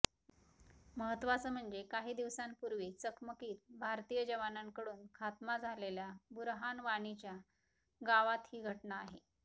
महत्त्वाचं म्हणजे काही दिवसांपूर्वी चकमकीत भारतीय जवानांकडून खात्मा झालेल्या बुरहान वाणीच्या गावात ही घटना आहे